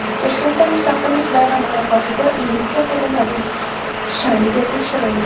Toshkentda Mustaqillik bayrami arafasida militsiya xodimlarining shayligi tekshirildi.